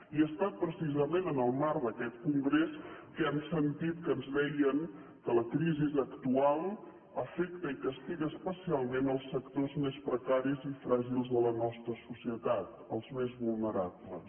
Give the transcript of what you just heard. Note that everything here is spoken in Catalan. i ha estat precisament en el marc d’aquest congrés que hem sentit que ens deien que la crisi actual afecta i castiga especialment els sectors més precaris i fràgils de la nostra societat els més vulnerables